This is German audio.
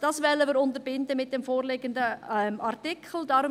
Das wollen wir mit dem vorliegenden Artikel unterbinden.